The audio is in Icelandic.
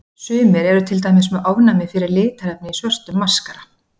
Sumir eru til dæmis með ofnæmi fyrir litarefni í svörtum maskara.